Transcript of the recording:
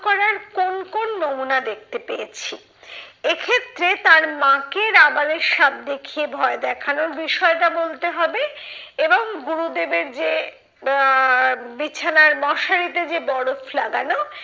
করার কোন কোন নমুনা দেখতে পেয়েছি? এক্ষেত্রে তার মাকে রাবারের সাপ দেখিয়ে ভয় দেখানোর বিষয়টা বলতে হবে। এবং গুরুদেবের যে আহ বিছানার মশারিতে যে বরফ লাগানো,